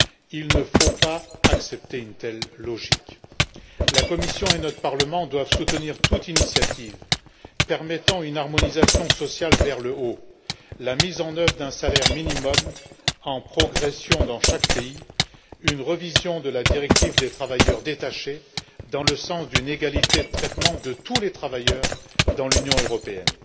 Il ne faut pas accepter une telle logique. La Commission et notre Parlement doivent soutenir toute initiative permettant une harmonisation sociale vers le haut la mise en œuvre d'un salaire minimum en progression dans chaque pays, une révision de la directive des travailleurs détachés dans le sens d'une égalité de traitement de tous les travailleurs dans l'Union européenne.